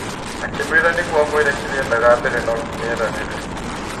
Akĩmwĩra nĩguo amwĩre kĩrĩa endaga mbere no nginya eranĩre.